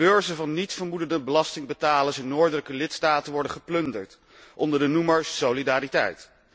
De beurzen van niets vermoedende belastingbetalers in noordelijke lidstaten worden geplunderd onder de noemer solidariteit.